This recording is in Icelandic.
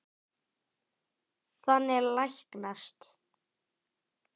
Þannig læknast